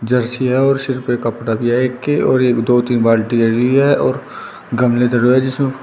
Jersey है और सिर पे कपड़ा भी है एक के और एक दो तीन बाल्टी लगी है और गमले धरे हुए हैं जिसमे फू --